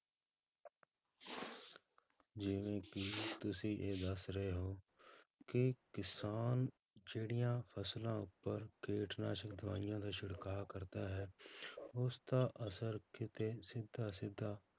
ਜਿਵੇਂ ਕਿ ਤੁਸੀਂ ਇਹ ਦੱਸ ਰਹੇ ਹੋ ਕਿ ਕਿਸਾਨ ਜਿਹੜੀਆਂ ਫਸਲਾਂ ਉੱਪਰ ਕੀਟਨਾਸ਼ਕ ਦਵਾਈਆਂ ਦਾ ਛਿੜਕਾਅ ਕਰਦਾ ਹੈ ਉਸਦਾ ਅਸਰ ਕਿਤੇ ਸਿੱਧਾ ਸਿੱਧਾ